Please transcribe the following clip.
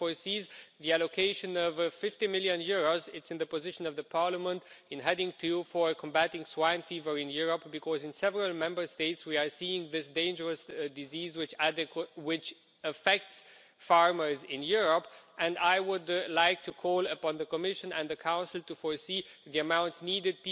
It foresees the allocation of EUR 50 million in the position of the Parliament in Heading 2 for combating swine fever in Europe, because in several Member States we are seeing this dangerous disease which affects farmers in Europe. I would like to call on the Commission and the Council to foresee the amounts needed.